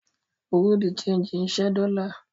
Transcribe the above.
Bùrúdì ṣẹegì ń ṣẹ́ dọ́lá.